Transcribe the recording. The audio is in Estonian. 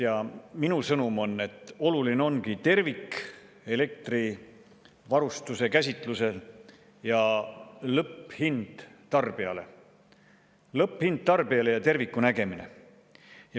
Ja minu sõnum on, et oluline ongi tervik elektrivarustuse käsitlusel: lõpphind tarbijale ja terviku nägemine.